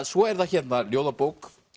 svo er það hérna ljóðabók